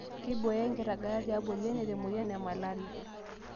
Keibooyo enkiragata tiabori e neet emoyian e malaria